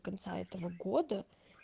конца этого года